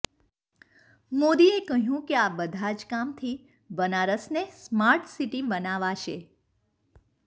મોદીએ કહ્યું કે આ બધા જ કામથી બનારસને સ્માર્ટ સિટી બનાવાશે